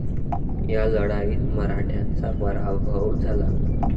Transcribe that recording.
या लढाईत मराठ्यांचा पराभव झाला.